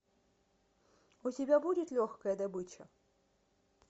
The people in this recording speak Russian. у тебя будет легкая добыча